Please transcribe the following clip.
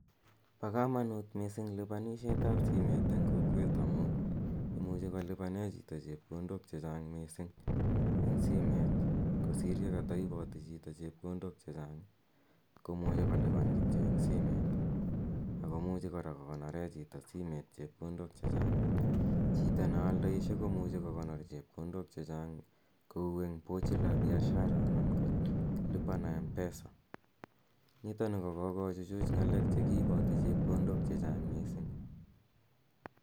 Pa kamanut missing' lipanishetap simet eng' kokwet amu imuchi kolipane chito chepkondok che chang' missing' eng' simet kosir ye kataipati chito chepkondok che chang' ko muchi kolipan kityo eng' simet ako muchi kora kokonore chito simet chepkondok che chang'. Chito ne aldaishe ko muchi kokonor chepkondok che chang' kou eng' pochi la biashara anan ko lipa na mpesa. Nitani ko kokochuchuch ng'alek che kiipati chepkondok che chang'.